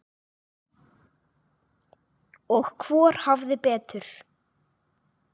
Og hvor hafði betur.